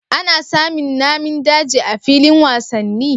Ana samin Namin daji a filin wasanni